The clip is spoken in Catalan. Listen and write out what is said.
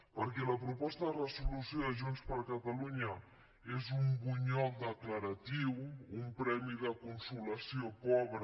perquè la proposta de resolució de junts per catalunya és un bunyol declaratiu un premi de consolació pobre